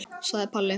sagði Palli.